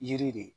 Yiri de